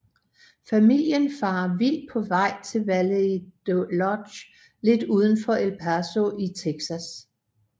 Familien farer vild på vej til Valley Lodge lidt udenfor El Paso i Texas